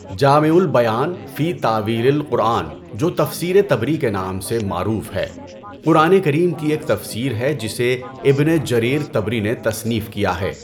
جامعُ البيان فِي تأويلِ القرآن جو تفسیرِ طَبری کے نام سے معروف ہے، قرآن کریم کی ایک تفسیر ہے جسے ابن جریر طبری نے تصنیف کیا ہے۔